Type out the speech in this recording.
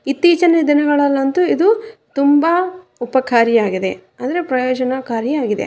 ಇತ್ತೀಚಿನ ದಿನಗಳಂತು ಇದು ತುಂಬಾ ಉಪಕಾರಿಯಾಗಿದೆ ಅಂದ್ರೆ ಪ್ರಯೋಜನಕಾರಿಯಾಗಿದೆ.